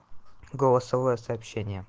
голосовое сообщение